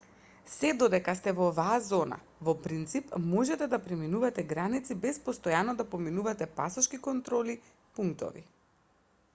сѐ додека сте во оваа зона во принцип можете да преминувате граници без постојано да поминувате пасошки контролни пунктови